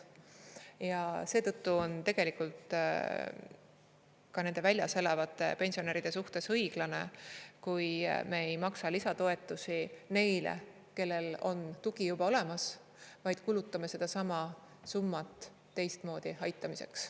Ja seetõttu on tegelikult ka nende väljas elavate pensionäride suhtes õiglane, kui me ei maksa lisatoetusi neile, kellel on tugi juba olemas, vaid kulutame sedasama summat teistmoodi aitamiseks.